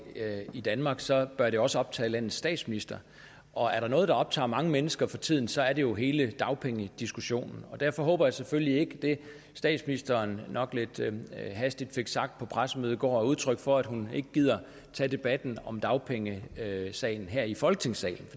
i danmark så bør det også optage landets statsminister og er der noget der optager mange mennesker for tiden så er det jo hele dagpengediskussionen derfor håber jeg selvfølgelig ikke at det statsministeren nok lidt hastigt fik sagt på pressemødet i går er udtryk for at hun ikke gider tage debatten om dagpengesagen her i folketingssalen